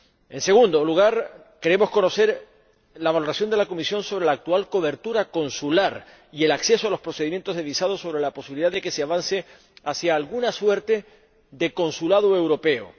En segundo lugar, queremos conocer la valoración de la Comisión sobre la actual cobertura consular y el acceso a los procedimientos de visado y sobre la posibilidad de que se avance hacia alguna suerte de consulado europeo.